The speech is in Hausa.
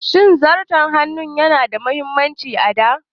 Shin Zarton hannu yana da mahimmanci a da?